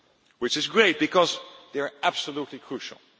Which is great, because they are absolutely crucial.